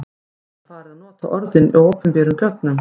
Samt var farið að nota orðið í opinberum gögnum.